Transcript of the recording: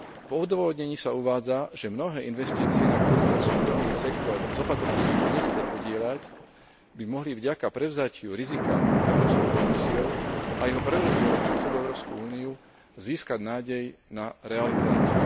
V odôvodnení sa uvádza, že mnohé investície, na ktorých sa súkromný sektor s opatrnosti už nechce podieľať, by mohli vďaka prevzatiu rizika Európskou komisiou a jeho prerozdeleniu na celú Európsku úniu získať nádej na realizáciu.